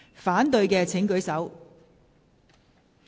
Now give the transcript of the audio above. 反對的請舉手。